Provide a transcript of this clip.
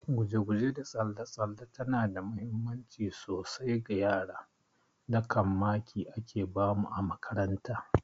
Guje guje da tsalle tsalle tana da muhimmanci sosai ga yara, da kam maki ake bamu a makaranta